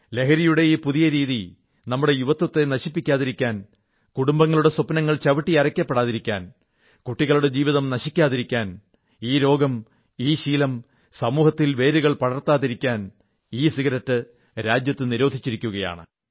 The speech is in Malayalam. ലഹരിയുടെ ഈ പുതിയ രീതി നമ്മുടെ യുവത്വത്തെ നശിപ്പിക്കാതിരിക്കാൻ കുടുംബങ്ങളുടെ സ്വപ്നങ്ങൾ ചവിട്ടിയരയ്ക്കപ്പെടാതിരിക്കാൻ കുട്ടികളുടെ ജീവിതം നശിക്കാതിരിക്കാൻ ഈ രോഗം ഈ ശീലം സമൂഹത്തിൽ വേരുകൾ പടർത്താതിരിക്കാൻ ഇസിഗരറ്റ് രാജ്യത്ത് നിരോധിച്ചിരിക്കയാണ്